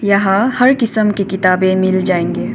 यहां हर किस्म की किताबें मिल जायेंगे।